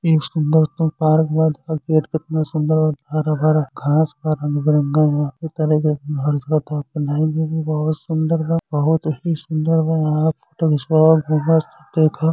एक सुन्दर क पार्क बा देख गेट केतना सुन्दर बा हरा भरा घास बा रंग बिरंगा घास बा बहुत सुन्दर बा बहुत ही सुन्दर बा |